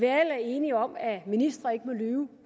er enige om at ministre ikke må lyve